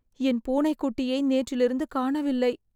என் பூனை குட்டியை நேற்றிலிருந்து காணவில்லை